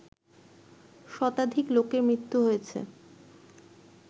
শতাধিক লোকের মৃত্যু হয়েছে